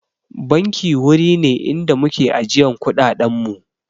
Banki wuri ne inda muke ajiyan kuɗaɗen mu